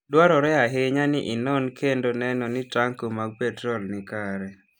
Dwarore ahinya ni inon kendo neno ni tanko mag petrol ni kare.